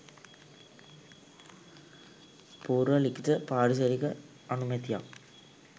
පූර්ව ලිඛිත පාරිසරික අනුමැතියක්